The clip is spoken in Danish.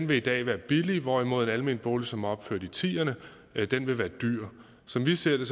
vil i dag være billig hvorimod en almen bolig som er opført i tierne vil være dyr som vi ser det